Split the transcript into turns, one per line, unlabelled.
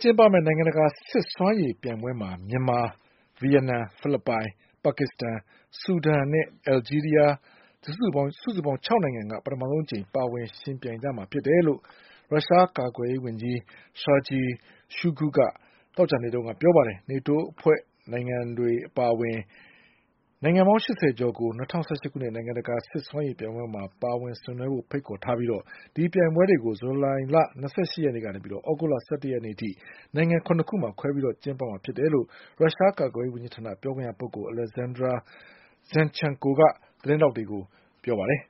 ကျင်းပမယ့် နိုင်ငံတကာ စစ်စွမ်းရည်ပြိုင်ပွဲမှာ မြန်မာ၊ ဗီယက်နမ်၊ ဖိလစ်ပိုင်၊ ပါကစ္စတန်၊ ဆူဒန်နဲ့ အလ်ဂျီး ရီးယား စုစုပေါင်း ၆ နိုင်ငံက ပထမဆုံးအကြိမ် ပါဝင်ယှဉ်ပြိုင်ကြမှာ ဖြစ်တယ်လို့ ရုရှားကာကွယ်ရေး ဝန်ကြီး Sergei Shoigu က သောကြာနေ့က ပြောပါတယ်။ နေတိုးအဖွဲ့ဝင်နိုင်ငံတွေအပါအဝင် နိုင်ငံပေါင်း ၈၀ ကျော်ကို ၂၀၁၈ ခုနှစ် နိုင်ငံတကာ စစ် စွမ်းရည်ပြိုင်ပွဲမှာ ပါဝင် ဆင်နွှဲဖို့ဖိတ်ခေါ်ထားပြီး ဒီပြိုင်ပွဲတွေကို ဇူလိုင်လ ၂၈ ရက်နေ့ကနေ သြဂုတ်လ ၁၁ ရက်နေ့အထိ နိုင်ငံ ၇ ခုမှာ ခွဲပြီး ကျင်းပမှာဖြစ်တယ်လို့ ရုရှားကာကွယ်ရေး ဝန်ကြီးဌာန ပြောခွင့်ရပုဂ္ဂိုလ် Alexander Zinchenko က သတင်းထောက်တွေကို ပြော ပါတယ်